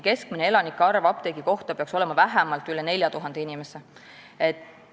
Keskmine elanike arv apteegi kohta peaks olema vähemalt üle 4000 inimese.